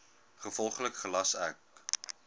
gevolglik gelas ek